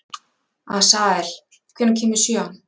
Asael, hvenær kemur sjöan?